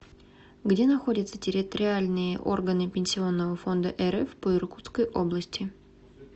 где находится территориальные органы пенсионного фонда рф по иркутской области